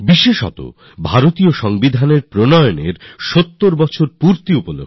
আর এবার সংবিধান দিবস বিশেষ গুরুত্বপূর্ণ কারণ সংবিধানকে স্বীকার করার এবার ৭০ তম বর্ষ পূর্ণ হচ্ছে